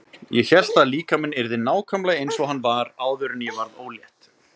Ég hélt að líkaminn yrði nákvæmlega eins og hann var áður en ég varð ólétt.